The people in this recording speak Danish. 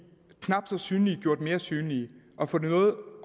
knap så synlige gjort mere synlige og få noget